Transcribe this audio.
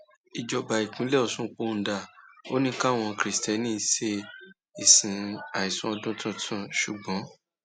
ìjọba ìpínlẹ ọṣun pohùn dà ò ní káwọn kristiẹni ṣe ìsìn àìsùn ọdún tuntun ṣùgbọn